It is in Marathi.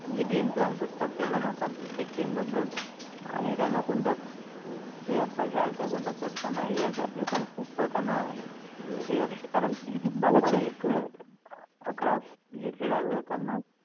म्हणजे game plans असतात ते बनवतात प्रत्येक team बददल आणि त्याना कोणत्या player चा घेयचा आणि कोणत्या player चा घेयचा नाही हे पण खूप त्याना हे अस्ते कारण power